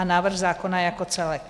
A návrh zákona jako celek.